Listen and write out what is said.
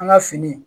An ka fini